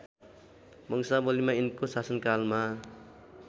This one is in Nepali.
वंशावलीमा यिनको शासनकालमा